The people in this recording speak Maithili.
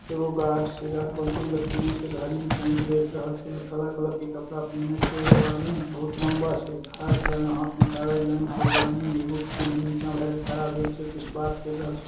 एगो गार्ड छै गार्ड बंदूक लटकेने छै घड़ी में टाइम देख रहल छै और काला कलर के कपड़ा पहिने छै एगो आदमी बहुत लंबा छै खड़ा छै हाथ में कागज लेना छै एगो आदमी एगो सीढ़ी के नीचा भा के खड़ा भेल छै कुछ बात क रहल छै।